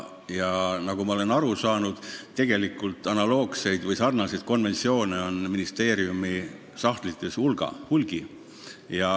Ja nagu ma olen aru saanud, on analoogseid konventsioone ministeeriumi sahtlites hulgi.